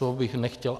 To bych nechtěl.